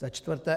Za čtvrté.